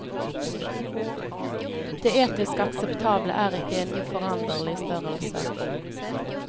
Det etisk akseptable er ikke en uforanderlig størrelse.